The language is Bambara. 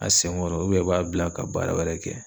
A sen kɔrɔ i b'a bila ka baara wɛrɛ kɛ.